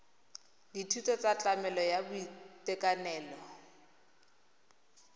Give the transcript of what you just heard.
dithuso tsa tlamelo ya boitekanelo